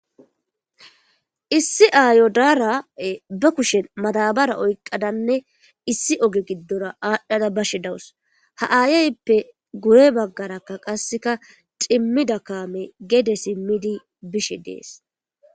Issi aayo daara be kushen maadabara oyqqadanne issi oge giddora aadhdhade bashe dawus; ha ayaayppe guye baggaraka qassika cimmida kaamee gede simmidi bishe de7ees.